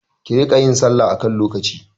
Ki riƙa yin salla a kan lokaci!